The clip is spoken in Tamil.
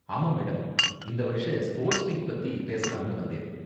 ஆமா மேடம், இந்த வருஷ ஸ்போர்ட்ஸ் மீட் பத்தி பேசலாம்னு வந்தேன்.